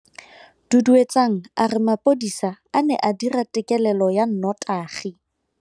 Duduetsang a re mapodisa a ne a dira têkêlêlô ya nnotagi.